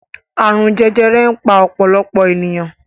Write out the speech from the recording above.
Àrùn jẹjẹrẹ ń pa ọ̀pọ̀lọpọ̀ ènìyàn.